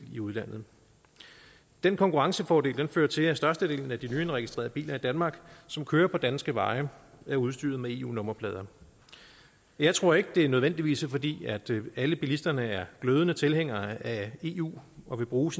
i udlandet den konkurrencefordel fører til at størstedelen af de nyindregistrerede biler i danmark som kører på danske veje er udstyret med eu nummerplader jeg tror ikke at det nødvendigvis er fordi alle bilisterne er glødende tilhængere af eu og vil bruge